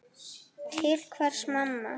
Til hvers mamma?